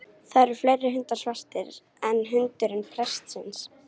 Það eru fleiri hundar svartir en hundurinn prestsins.